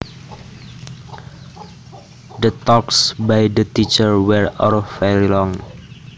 The talks by the teacher were all very long